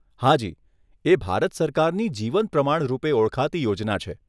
હાજી, એ ભારત સરકારની જીવન પ્રમાણ રૂપે ઓળખાતી યોજના છે.